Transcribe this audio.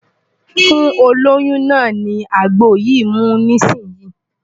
Fún olóyún náà ní àgbo yìí mu nísìnyín!